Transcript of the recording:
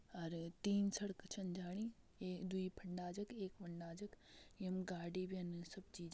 और तीन सड़क छिन जाणी एक दुइ फण्डाज क एक हुंडाज क यम गाडी बिन सब चीज --